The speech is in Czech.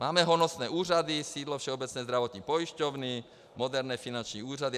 Máme honosné úřady, sídlo Všeobecné zdravotní pojišťovny, moderní finanční úřady.